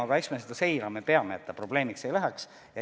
Aga eks me seda seirama peame, et see suureks probleemiks ei läheks.